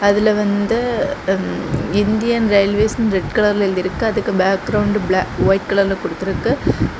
அதுல வந்து ம் இந்தியன் ரயில்வேஸ்னு இருக்கு ரெட் கலர்ல எழுதி இருக்கு அதுக்கு பேக்ரவுண்ட் ப்ளா ஒயிட் கலர்ல குடுத்துருக்கு.